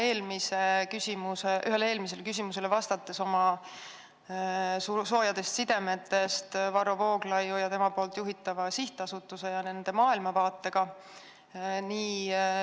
Rääkisite ühele eelmisele küsimusele vastates oma soojadest sidemetest Varro Vooglaiu ja tema juhitava sihtasutuse ning nende maailmavaatega.